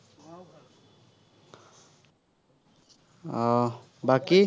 আহ বাকী